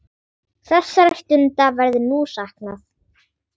Þessara stunda verður nú saknað.